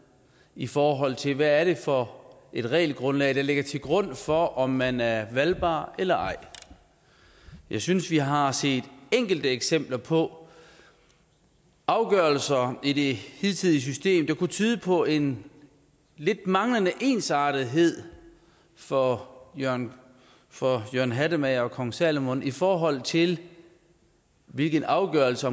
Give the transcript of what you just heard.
i forhold til hvad det er for et regelgrundlag der ligger til grund for om man er valgbar eller ej jeg synes vi har set enkelte eksempler på afgørelser i det hidtidige system der lidt kunne tyde på en manglende ensartethed for jørgen for jørgen hattemager og kong salomon i forhold til hvilken afgørelse